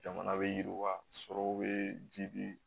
Jamana bɛ yiriwa sɔrɔw bɛ ji bi